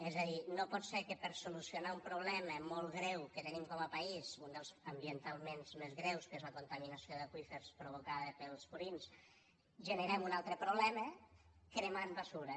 és a dir no pot ser que per a solucionar un problema molt greu que tenim com a país un dels ambientalment més greus que és la contaminació d’aqüífers provocada pels purins generem un altre problema cremant basura